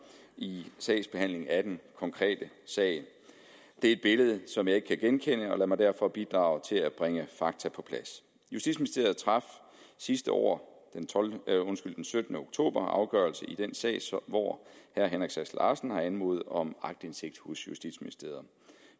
i sagsbehandlingen af den konkrete sag det er et billede som jeg ikke kan genkende og lad mig derfor bidrage til at bringe fakta på plads justitsministeriet traf sidste år den syttende oktober afgørelse i den sag hvor herre henrik sass larsen har anmodet om aktindsigt hos justitsministeriet